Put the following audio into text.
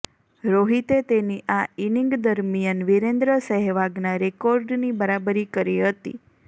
રોહિતે તેની આ ઈનિંગ દરમિયાન વિરેન્દ્ર સેહવાગના રેકોર્ડની બરાબરી કરી હતી